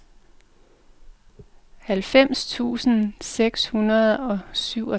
halvfems tusind seks hundrede og syvogtres